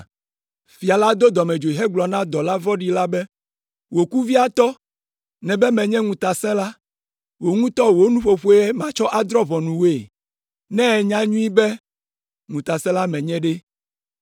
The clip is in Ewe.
“Fia la do dɔmedzoe hegblɔ na dɔla vɔ̃ɖi la be, ‘Wò kuviatɔ nèbe menye ŋutasẽla. Wò ŋutɔ wò nuƒoƒoe matsɔ adrɔ̃ ʋɔnu wòe. Ne ènya nyuie be ŋutasẽla menye ɖe,